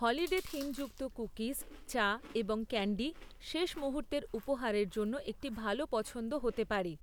Holiday থিমযুক্ত cookies, চা এবং ক্যান্ডি শেষ মুহূর্তের উপহারের জন্য একটি ভাল পছন্দ হতে পারে।